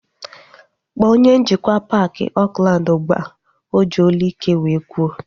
Kpọọ onye njikwa paaki Oakland ụgbụa! O ji olu ike wee kwuo